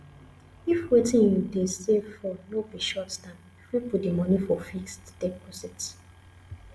if wetin you dey save for no be short term you fit put di money for fixed deposit